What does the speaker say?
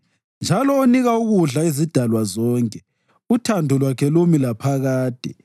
Njalo onika ukudla izidalwa zonke, uthando lwakhe lumi laphakade.